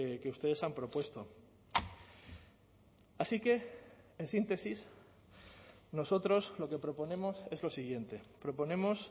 que ustedes han propuesto así que en síntesis nosotros lo que proponemos es lo siguiente proponemos